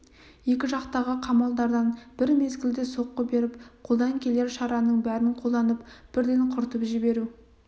екі жақтағы қамалдардан бір мезгілде соққы беріп қолдан келер шараның бәрін қолданып бірден құртып жіберу